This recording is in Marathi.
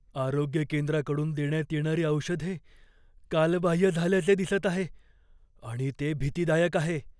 आरोग्य केंद्राकडून देण्यात येणारी औषधे कालबाह्य झाल्याचे दिसत आहे आणि ते भीतीदायक आहे.